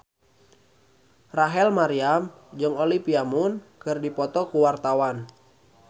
Rachel Maryam jeung Olivia Munn keur dipoto ku wartawan